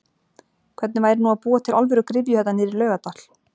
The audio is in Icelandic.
Hvernig væri nú að búa til alvöru gryfju þarna niðrí Laugardal?!!